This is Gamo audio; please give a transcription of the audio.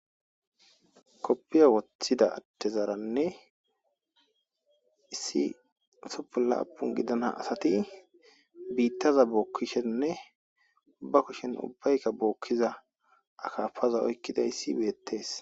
koppiya woththida addezaaranne issi usuppun laapun gidana asati biittaza bookkishenne ba kushen ubbaykka bookkiza akafaza oykkidayis betees